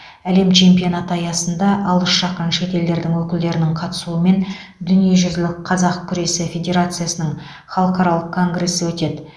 әлем чемпионаты аясында алыс жақын шет елдердің өкілдерінің қатысуымен дүниежүзілік қазақ күресі федерациясының халықаралық конгресі өтеді